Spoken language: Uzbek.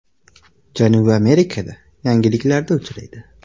Janubiy Amerikada yalangliklarda uchraydi.